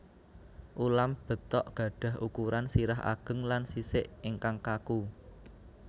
Ulam betok gadhah ukuran sirah ageng lan sisik ingkang kaku